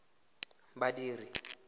badiri